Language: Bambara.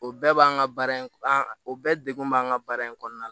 O bɛɛ b'an ka baara in an bɛɛ degun b'an kan baara in kɔnɔna na